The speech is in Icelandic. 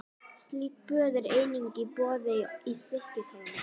Slík böð eru einnig í boði í Stykkishólmi.